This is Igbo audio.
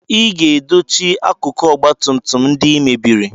Ị ga-edochi akụkụ ọgba tum tum ndị I mebiri!